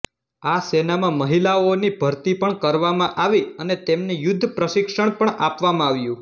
આ સેનામાં મહિલાઓની ભરતી પણ કરવામાં આવી અને તેમને યુદ્ધ પ્રશિક્ષણ પણ આપવામાં આવ્યુ